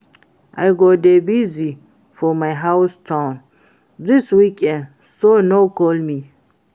I go dey busy for my home town dis weekend so no call me